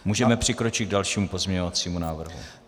Můžeme přikročit k dalšímu pozměňovacímu návrhu.